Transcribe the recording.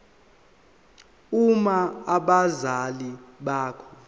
uma abazali bakho